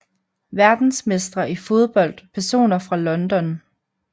Verdensmestre i fodbold Personer fra London